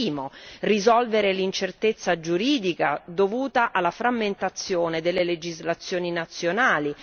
Primo risolvere l'incertezza giuridica dovuta alla frammentazione delle legislazioni nazionali